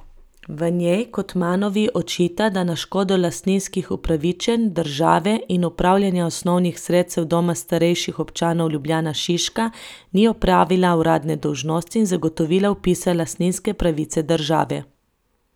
V njej Cotmanovi očita, da na škodo lastninskih upravičenj države in upravljanja osnovnih sredstev Doma starejših občanov Ljubljana Šiška ni opravila uradne dolžnosti in zagotovila vpisa lastninske pravice države.